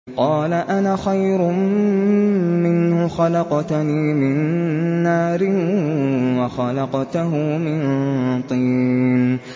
قَالَ أَنَا خَيْرٌ مِّنْهُ ۖ خَلَقْتَنِي مِن نَّارٍ وَخَلَقْتَهُ مِن طِينٍ